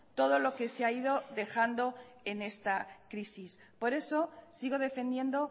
todo lo que se ha ido dejando en esta crisis por eso sigo defendiendo